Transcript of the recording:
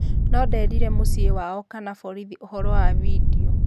No-nderire mũciĩ wao kana borithi ũhoro wa bindio.